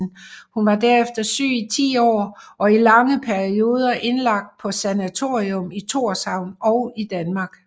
Hun var derefter syg i ti år og i lange perioder indlagt på sanatorium i Tórshavn og i Danmark